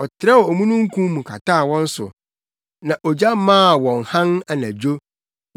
Ɔtrɛw omununkum mu kataa wɔn so, na ogya maa wɔn hann anadwo.